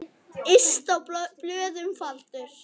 Yst á blöðum faldur.